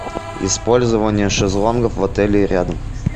использование шезлонгов в отеле и рядом